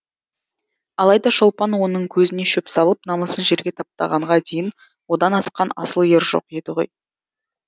алайда шолпан оның көзіне шөп салып намысын жерге таптағанға дейін одан асқан асыл ер жоқ еді ғой